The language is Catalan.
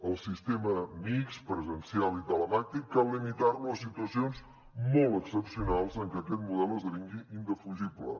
el sistema mixt presencial i telemàtic cal limitar lo a situacions molt excepcionals en què aquest model esdevingui indefugible